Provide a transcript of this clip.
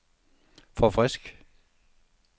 forfrisk